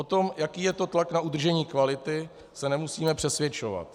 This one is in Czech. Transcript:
O tom, jaký je to tlak na udržení kvality, se nemusíme přesvědčovat.